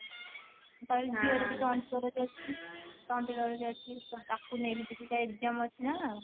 ଝିଅ ର ବି ସେମତି ତାକୁ ନେଇକି ଯିବୀ ତା exam ଅଛି ନା